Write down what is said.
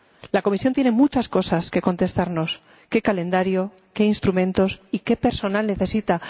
La Comisión tiene muchas cosas que contestarnos qué calendario, qué instrumentos y qué personal necesita.